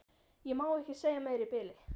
Ég má ekki segja meira í bili.